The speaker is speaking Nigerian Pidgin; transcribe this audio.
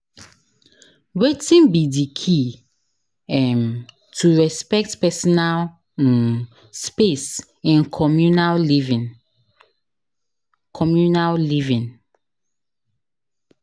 Wetin be di key um to respect personal um space in communal living? communal living?